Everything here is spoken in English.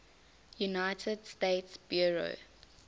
united states bureau